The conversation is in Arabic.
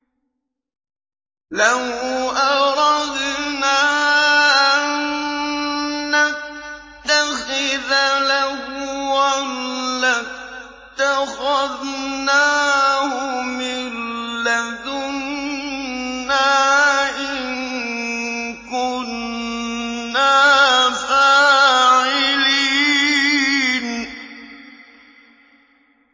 لَوْ أَرَدْنَا أَن نَّتَّخِذَ لَهْوًا لَّاتَّخَذْنَاهُ مِن لَّدُنَّا إِن كُنَّا فَاعِلِينَ